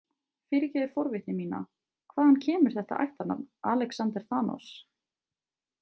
Fyrirgefðu forvitni mína, hvaðan kemur þetta ættarnafn, Alexander Thanos?